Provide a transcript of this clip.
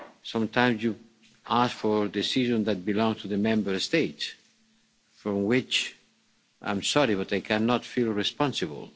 Sometimes you ask for a decision that belongs to the Member States for which, I'm sorry, but I cannot feel responsible.